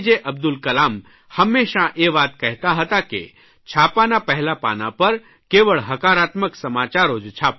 અબ્દુલ કલામ હંમેશાં એ વાત કહેતા હતા કે છાપાના પહેલા પાના પર કેવળ હકારાત્મક સમાચારો જ છાપો